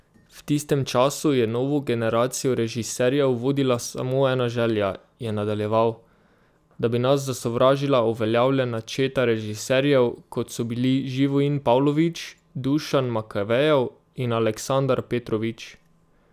V tistem času je novo generacijo režiserjev vodila samo ena želja, je nadaljeval: 'Da bi nas zasovražila uveljavljena četa režiserjev, kot so bili Živojin Pavlović, Dušan Makavejev in Aleksandar Petrović.